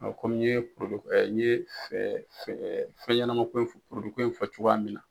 Ɔ kɔmi ye n ye fɛ fɛ fɛɲɛnɛmako fɔ koyi fɔ cogoya min na.